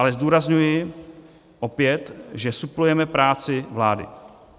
Ale zdůrazňuji opět, že suplujeme práci vlády.